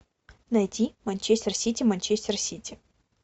найти манчестер сити манчестер сити